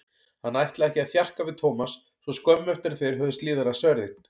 Hann ætlaði ekki að þjarka við Thomas svo skömmu eftir að þeir höfðu slíðrað sverðin.